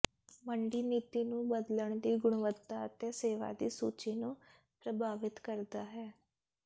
ਮੰਡੀ ਨੀਤੀ ਨੂੰ ਬਦਲਣ ਦੀ ਗੁਣਵੱਤਾ ਅਤੇ ਸੇਵਾ ਦੀ ਸੂਚੀ ਨੂੰ ਪ੍ਰਭਾਵਿਤ ਕਰਦਾ ਹੈ